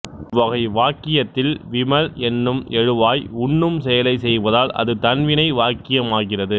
இவ்வகை வாக்கியத்தில் விமல் என்னும் எழுவாய் உண்ணும் செயலைச் செய்வதால் அது தன்வினை வாக்கியமாகிறது